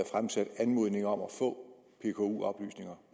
fremsat anmodninger om at få pku oplysninger